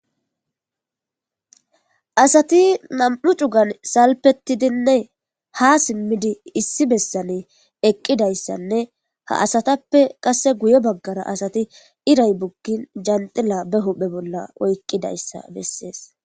asati nam7u cugan salpettidinne ha simmidi issi bessane eqqidayssanne ha asatappe qasse guye baggara asati iray bukgin janxila be hophe bolla oyqqidayssa bessees